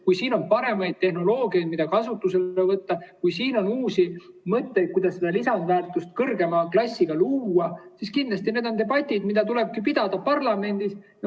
Kui siin on paremaid tehnoloogiaid, mida kasutusele võtta, kui siin on uusi mõtteid, kuidas seda kõrgema klassiga lisandväärtust luua, siis kindlasti need on debatid, mida tuleb pidada parlamendis.